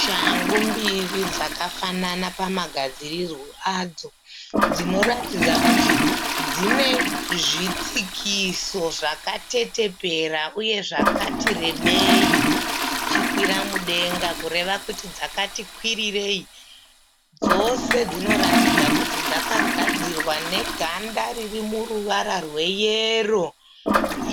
Shangu mbiri dzakafanana pamagadzirirwo adzo dzinoratidza kuti dzine zvitsikiso zvakateteperera uye zvakati rebei zvichikwira mudenga kureva kuti dzakati kwirirei. Dzose dzinoratidza kuti dzakadzirwa neganda riri muruvara rweyero